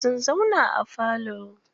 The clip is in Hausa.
Sun zauna a falo.